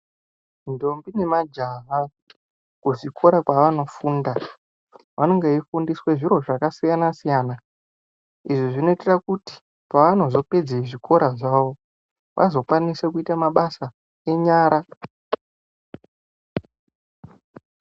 Ndombi nemajaha kuzvikora kwavanofunda vanonga veifundiswa zviro zvakasiyana-siyana. Izvi zvinoitira kuti pavanozopedze zvikoro zvavo vazokwanisa kuita mabasa enyara.